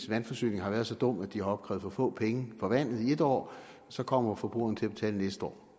vandforsyningen har været så dum at de har opkrævet for få penge for vandet i et år så kommer forbrugeren jo til at det næste år